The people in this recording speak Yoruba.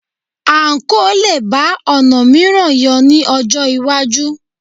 Àǹkóò lè bá ọ̀nà mìíràn yọ ní ọjọ́ iwájú